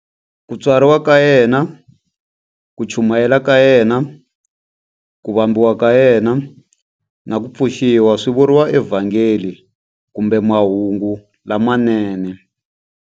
Ku tswariwa ka yena, ku chumayela ka yena, ku vambiwa ka yena, na ku pfuxiwa swi vuriwa eVhangeli kumbe Mahungu lamanene.